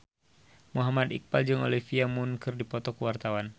Muhammad Iqbal jeung Olivia Munn keur dipoto ku wartawan